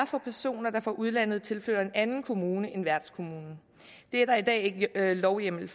for personer der fra udlandet tilflytter en anden kommune end værtskommunen det er der i dag ikke lovhjemmel